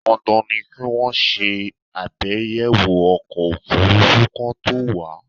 Dandan ni kí wọ́n ṣe àbẹ̀yẹwọ̀ ọkọ̀ òfúrúfú kí wọ́n to wà á